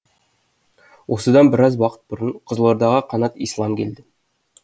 осыдан біраз уақыт бұрын қызылордаға қанат ислам келді